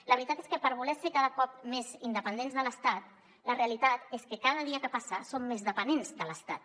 la veritat és que per voler ser cada cop més independents de l’estat la realitat és que cada dia que passa som més dependents de l’estat